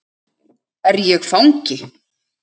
Er ég fangi?